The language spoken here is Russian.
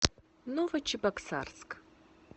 новочебоксарск